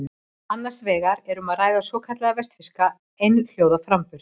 Annars vegar er um að ræða svokallaðan vestfirskan einhljóðaframburð.